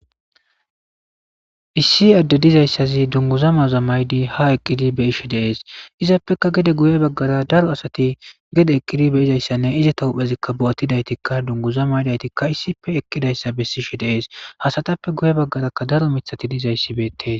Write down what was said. issi adde dizayssazi dunguzamaza maydi ha eqqidi be ishi deees izaappeka gede guye baggara daro asati gede eqqidi be izayssanne izata huphezikka bo7attidaytikka dunguza maydaytikka issife eqqidayssa bessishi deees hasatappe guye baggaraka daro mithati dizayssi beettees